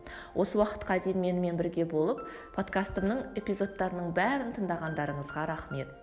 осы уақытқа дейін менімен бірге болып подкастымның эпизодтарының бәрін тыңдағандарыңызға рахмет